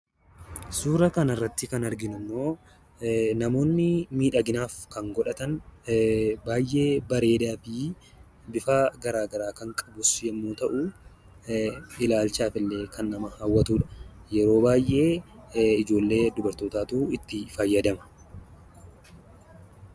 Suuraa kanarratti kan arginuu ammoo namoonni miidhaginaaf kan godhatan baayyee bareedaafi bifa garagaraa kan qabus yommuu ta'u, ilaalchaafillee kan nama hawwatudha. Yeroo baayyee ijoollee dubartootaatu itti fayyadama.